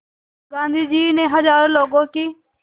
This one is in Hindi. गांधी ने हज़ारों लोगों की